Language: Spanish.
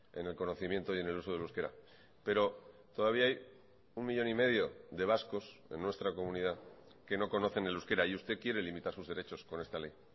en el conocimiento y en el uso del euskera pero todavía hay un millón y medio de vascos en nuestra comunidad que no conocen el euskera y usted quiere limitar sus derechos con esta ley